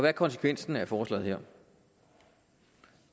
er konsekvensen af forslaget her